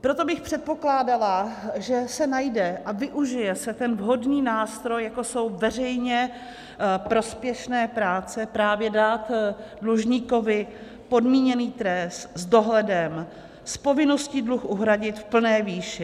Proto bych předpokládala, že se najde a využije se ten vhodný nástroj, jako jsou veřejně prospěšné práce, právě dát dlužníkovi podmíněný trest s dohledem, s povinností dluh uhradit v plné výši.